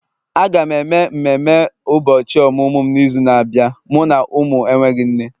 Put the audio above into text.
Aga m eme mmemme ụbọchị ọmụmụ m n'izu na-abịa, mụ na ụmụ enweghị nne